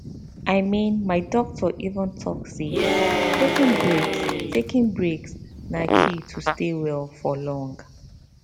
i mean my doctor even talk say taking breaks taking breaks na key to stay well for long